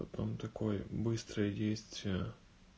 потом такой быстрый есть